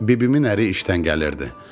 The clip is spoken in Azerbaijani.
Bibimin əri işdən gəlirdi.